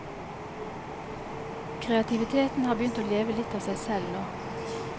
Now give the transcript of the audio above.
Kreativiteten har begynt å leve litt av seg selv nå.